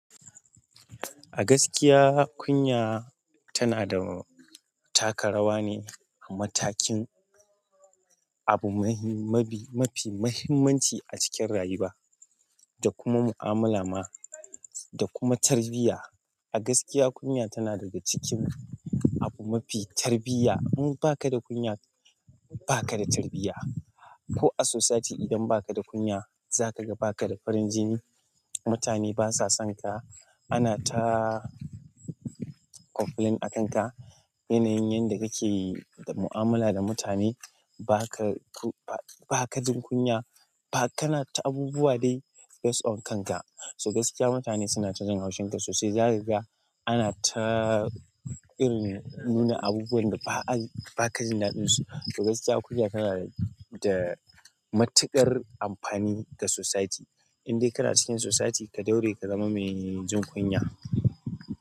A gaskiya kunya tana da taka rawa ne a matakin abu mahim-- mafi muhimmanci a cikin rayuwa da kuma mu'amala ma da kuma tarbiyya. A gaskiya kunya tana daga cikin abu mafi tarbiyya. In baka da kunya, baka da tarbiyya. Ko a sosaiti idan baka da kunya zakaga baka da farin jini, mutane basa sonka, ana ta complain a kanka. Yanayin yanda kake da mu'amala da mutane, baka ku-- ba ka da kunya, kana ta abubuwa dai based on kanka. So gaskiya mutane suna ta jin haushin ka sosai. Zaka gala ana ta irin nuna abubuwan da ba a yi-- baka jin daɗinsu. To gaskiya kunya tana da matuƙar amfani ga sosaiti. Indai kana cikin sosaiti ka ɗaure ka zama mai jin kunya.